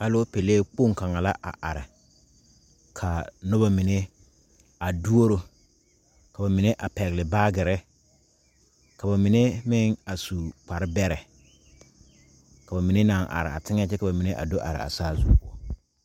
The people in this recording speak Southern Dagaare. Alopele kpoŋ kaŋa la a are ka noba mine a duoro ka ba mine a pɛgle baagere ka ba mine meŋ a su kparebɛrɛ ka ba mine naŋ are a teŋɛŋ kyɛ ka ba mine do are a saazu poɔ.